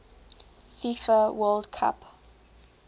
fifa world cup